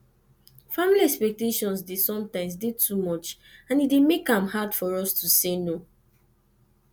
family expectations dey sometimes dey too much and e dey make am hard for us to say no